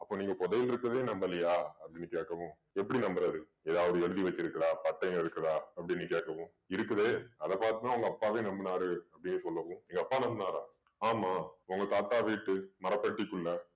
அப்போ நீங்க புதையல் இருக்கறதே நம்பலையா அப்படீன்னு கேக்கவும் எப்படி நம்பறது ஏதாவது எழுதி வச்சிருக்குதா பட்டயம் இருக்குதா அப்படீன்னு கேக்கவும் இருக்குதே அதை பாத்து தான் உங்க அப்பாவே நம்பினாரு அப்படீன்னு சொல்லவும் எங்கப்பா நம்பினாரா ஆமாம் உங்க தாத்தா வீட்டு மரப்பெட்டிக்குள்ள